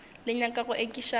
le nyaka go ekiša bana